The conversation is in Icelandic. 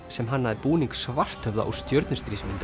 sem hannaði búning Svarthöfða úr